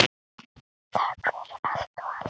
Þökk fyrir allt og allt.